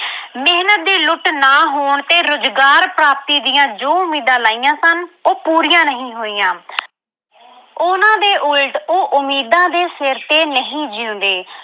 ਦੀ ਲੁੱਟ ਨਾ ਹੋਣ ਤੇ ਰੁਜ਼ਗਾਰ ਪ੍ਰਾਪਤੀ ਦੀਆਂ ਜੋ ਉਮੀਦਾਂ ਲਾਈਆਂ ਸਨ ਉਹ ਪੂਰੀਆਂ ਨਹੀਂ ਹੋਈਆਂ ਉਹਨਾਂ ਦੇ ਉਲਟ ਉਹ ਉਮੀਦਾਂ ਦੇ ਸਿਰ ਤੇ ਨਹੀਂ ਜਿਉਂਦੇ।